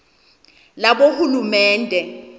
labohulumende